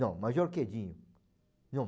Não, Major Quedinho. Não